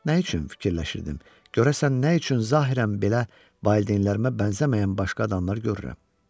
Nə üçün fikirləşirdim, görəsən nə üçün zahirən belə valideynlərimə bənzəməyən başqa adamlar görürəm?